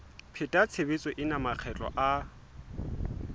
pheta tshebetso ena makgetlo a